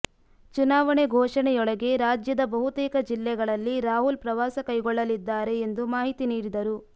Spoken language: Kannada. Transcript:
ಚುನಾವಣೆ ಘೋಷಣೆಯೊಳಗೆ ರಾಜ್ಯದ ಬಹುತೇಕ ಜಿಲ್ಲೆಗಳಲ್ಲಿ ರಾಹುಲ್ ಪ್ರವಾಸಕೈಗೊಳ್ಳಲಿದ್ದಾರೆ ಎಂದು ಮಾಹಿತಿ ನೀಡಿದರು